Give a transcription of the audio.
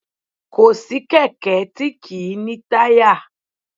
Kò sí kẹ̀kẹ́ tí kì í ní táyà